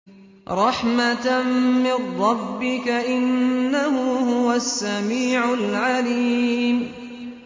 رَحْمَةً مِّن رَّبِّكَ ۚ إِنَّهُ هُوَ السَّمِيعُ الْعَلِيمُ